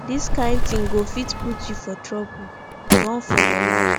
dis kin thing go fit put you for trouble run for your life